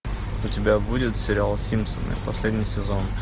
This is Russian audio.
у тебя будет сериал симпсоны последний сезон